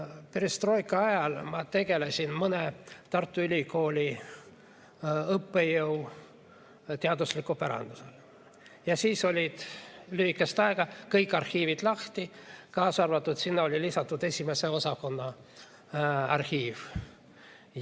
Perestroika ajal ma tegelesin mõne Tartu Ülikooli õppejõu teadusliku pärandiga ja siis olid lühikest aega kõik arhiivid lahti, sinna oli lisatud ka 1. osakonna arhiiv.